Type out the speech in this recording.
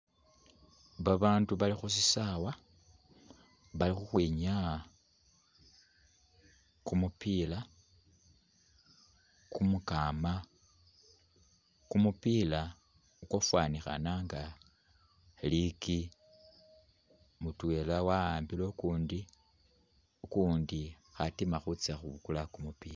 Babandu Bali khushisawa bali ukhwinyaya kumupila kumukama , kumupila ukwafanikhana inga likyi , mutwela awambile ukundi, ukundi ali khutima khutsa khubukula kumupila .